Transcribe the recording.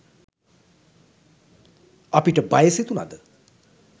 අපිට බය සිතුනද